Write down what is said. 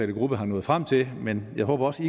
gruppe er nået frem til men jeg håber også